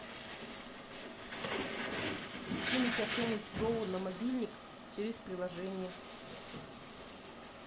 кинуть артему петрову на мобильник через приложение